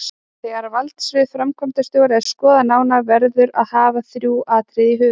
Þegar valdsvið framkvæmdastjóra er skoðað nánar verður að hafa þrjú atriði í huga